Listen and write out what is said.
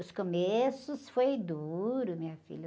Os começos foram duros, minha filha.